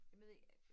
Jamen jeg ved ik